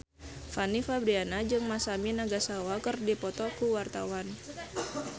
Fanny Fabriana jeung Masami Nagasawa keur dipoto ku wartawan